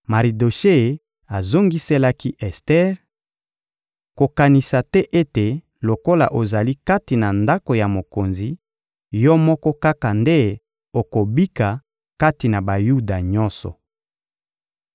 Maridoshe azongiselaki Ester: — Kokanisa te ete lokola ozali kati na ndako ya mokonzi, yo moko kaka nde okobika kati na Bayuda nyonso.